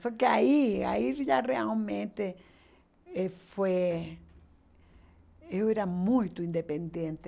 Só que aí, aí já realmente eh foi... Eu era muito independente.